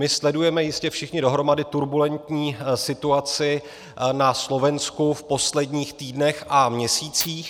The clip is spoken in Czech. My sledujeme jistě všichni dohromady turbulentní situaci na Slovensku v posledních týdnech a měsících.